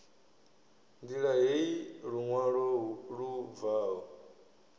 ṋdila heyi luṅwalo lu bvaho